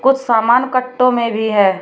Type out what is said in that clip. कुछ सामान कट्टों में भी है।